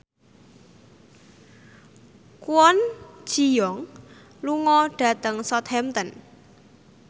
Kwon Ji Yong lunga dhateng Southampton